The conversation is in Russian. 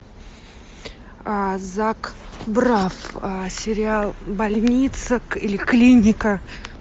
зак брафф сериал больница или клиника